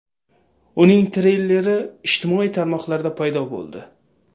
Uning treyleri ijtimoiy tarmoqlarda paydo bo‘ldi.